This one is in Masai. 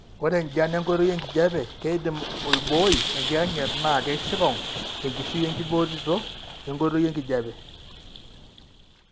Ore enjian enkoitoi enkijiape keidim oibooi enkiyang'et naa keisikong' enkishui enkiboorito enkoitoi enkijiape.